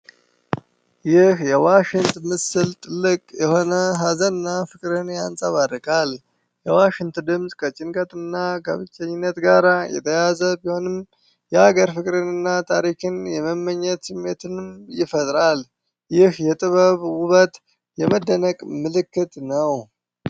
ይህ የዋሽንት ምስል ጥልቅ የሆነ ሀዘን እና ፍቅርን ያንጸባርቃል። የዋሽንት ድምፅ ከጭንቀት እና ከብቸኝነት ጋር የተያያዘ ቢሆንም፣ የሀገር ፍቅርን እና ታሪክን የመመኘት ስሜትንም ይፈጥራል። ይህ የጥበብ ውበት የመደነቅ ምልክት ነው።